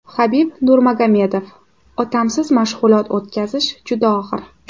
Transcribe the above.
Habib Nurmagomedov: Otamsiz mashg‘ulot o‘tkazish juda og‘ir.